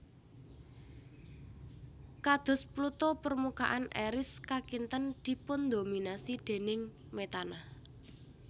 Kados Pluto permukaan Eris kakinten dipundhominasi déning metana